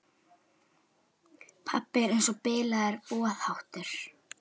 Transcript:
Pabbi er eins og bilaður boðháttur.